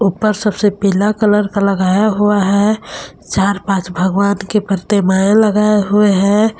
ऊपर सबसे पीला कलर का लगाया हुआ है चार पांच भगवान के प्रतिमाएं लगाए हुए हैं।